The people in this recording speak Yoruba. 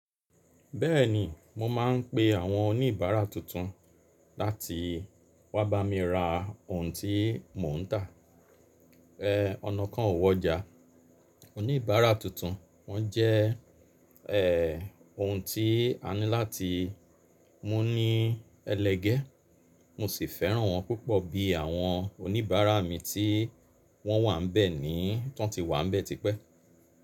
Bẹ́ẹ̀ni, mo máa ń pe àwọn oníbàárà tuntun láti wá bá mi ra ohun tí mò ń tà. Ẹ̀ ọ̀nà kan ò wọ́ já, oníbàárà tuntun wọ́n jẹ́ ẹ̀ ohun tí a ní láti mú ní ẹlẹgẹ́. Mo sì fẹ́ràn wọ́n púpọ̀ bí i àwọn oníbàárà mi tí wọ́n wà ń bẹ́ẹ̀ ní tọ́n ti wà ń bẹ́ẹ̀ tipẹ́.